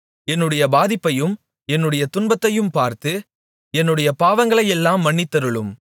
என்னுடைய பாதிப்பையையும் என்னுடைய துன்பத்தையும் பார்த்து என்னுடைய பாவங்களையெல்லாம் மன்னித்தருளும்